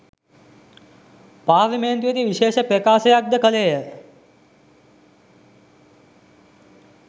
පාර්ලිමේන්තුවේදී විශේෂ ප්‍රකාශයක්ද කළේය